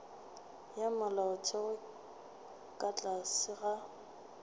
ya molaotheo ka tlase ga